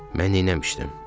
Mən neyləmişdim?